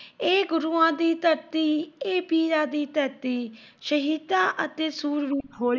ਇਹ ਗੁਰੂਆਂ ਦੀ ਧਰਤੀ, ਇਹ ਪੀਰਾਂ ਦੀ ਧਰਤੀ, ਸ਼ਹੀਦਾਂ ਅਤੇ ਸੂਰਮਿਆਂ ਦੀ, ਹੋਲੀ ਬੋਲ ਨੀ। ਇਹ ਧਰਤੀ ਦਾ ਕਣ ਕਣ ਮਹਾਨ।